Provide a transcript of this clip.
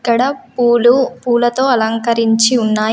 ఇక్కడ పూలు పూలతో అలంకరించి ఉన్నాయి.